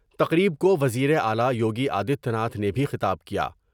تقریب کو وزیر اعلی یوگی آدتیہ ناتھ نے بھی خطاب کیا ۔